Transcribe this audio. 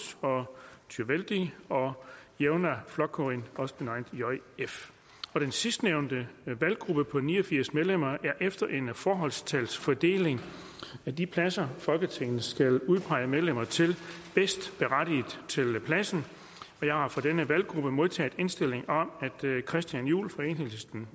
tjóðveldi og javnaðarflokkurin den sidstnævnte valggruppe på ni og firs medlemmer er efter en forholdstalsfordeling af de pladser folketinget skal udpege medlemmer til bedst berettiget til pladsen jeg har fra denne valggruppe modtaget indstilling om at christian juhl